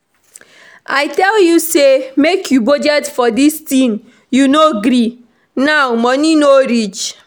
I tell you say make you budget for dis thing you no gree now money no reach